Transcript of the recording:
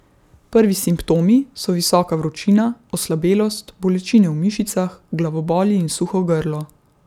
Prvi simptomi so visoka vročina, oslabelost, bolečine v mišicah, glavoboli in suho grlo.